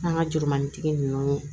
An ka jurumani tigi ninnu